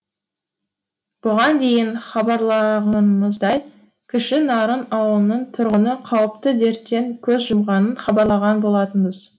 бұған дейін хабарлағанымыздай кіші нарын аулының тұрғыны қауіпті дерттен көз жұмғанын хабарлаған болатынбыз